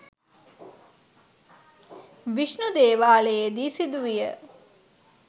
විෂ්ණු දේවාලයේ දී සිදුවිය.